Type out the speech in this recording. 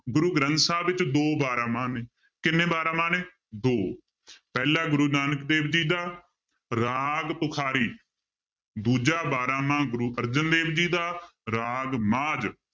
ਗੁਰੂ ਗ੍ਰੰਥ ਸਾਹਿਬ ਵਿੱਚ ਦੋ ਬਾਰਾਂਮਾਂਹ ਨੇ ਕਿੰਨੇ ਬਾਰਾਂਮਾਂਹ ਨੇ ਦੋ ਪਹਿਲਾ ਗੁਰੂ ਨਾਨਕ ਦੇਵ ਜੀ ਦਾ ਰਾਗ ਤੁਖਾਰੀ ਦੂਜਾ ਬਾਰਾਂਮਾਂਹ ਗੁਰੂ ਅਰਜਨ ਦੇਵ ਜੀ ਦਾ ਰਾਗ ਮਾਝ